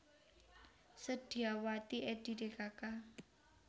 Sedyawati Edi dkk